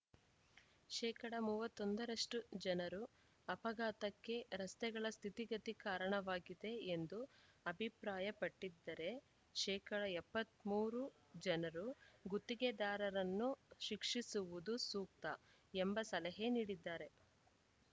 ಶೇಕಡ ಮೂವತ್ತ್ ಒಂದ ರಷ್ಟುಜನರು ಅಪಘಾತಕ್ಕೆ ರಸ್ತೆಗಳ ಸ್ಥಿತಿಗತಿ ಕಾರಣವಾಗಿದೆ ಎಂದು ಅಭಿಪ್ರಾಯಪಟ್ಟಿದ್ದರೆ ಶೇಕಡ ಎಪ್ಪತ್ತ್ ಮೂರು ಜನರು ಗುತ್ತಿಗೆದಾರರನ್ನು ಶಿಕ್ಷಿಸುವುದು ಸೂಕ್ತ ಎಂಬ ಸಲಹೆ ನೀಡಿದ್ದಾರೆ